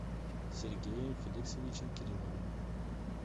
сергеем феликсовичем кирилловым